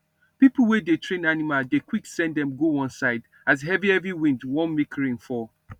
people wey dey train animal dey quick send dem go one side as heavy heavy wind wan make rain fall